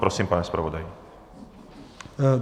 Prosím, pane zpravodaji.